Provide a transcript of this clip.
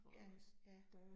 Ja, ja